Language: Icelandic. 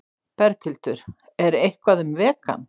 Berghildur: Er eitthvað um vegan?